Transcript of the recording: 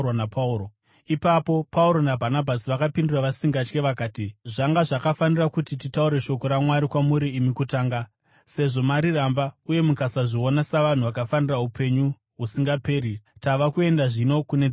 Ipapo Pauro naBhanabhasi vakavapindura vasingatyi vakati, “Zvanga zvakafanira kuti titaure shoko raMwari kwamuri imi kutanga. Sezvo mariramba uye mukasazviona savanhu vakafanira upenyu husingaperi, tava kuenda zvino kune veDzimwe Ndudzi.